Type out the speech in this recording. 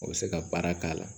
O bɛ se ka baara k'a la